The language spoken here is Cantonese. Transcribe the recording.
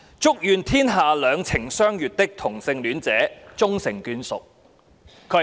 祝願天下兩情相悅的同性戀者終成眷屬。